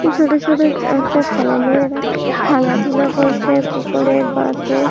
ছোটো ছোটো অ্যা হচ্ছে বাচ্চা ছেলে মেয়েরা খেলাধুলা করছে পুকুরের পাশে।